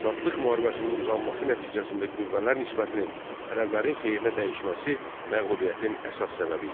Azadlıq müharibəsinin uzanması nəticəsində qüvvələr nisbətinin ərəblərin xeyrinə dəyişməsi məğlubiyyətin əsas səbəbi idi.